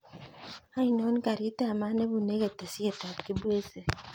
Ainon karit ab maat nebune ketesiet ab kibwezi